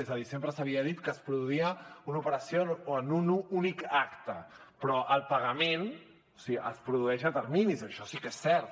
és a dir sempre s’havia dit que es produïa una operació en un únic acte però el pagament es produeix a terminis això sí que és cert